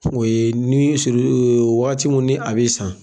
O ye ni waati minnu ni a bɛ san